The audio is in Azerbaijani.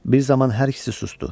Bir zaman hər ikisi susdu.